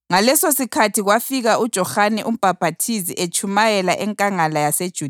Ngalesosikhathi kwafika uJohane uMbhaphathizi etshumayela enkangala yaseJudiya